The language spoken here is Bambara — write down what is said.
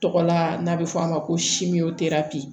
Tɔgɔla n'a bɛ fɔ a ma ko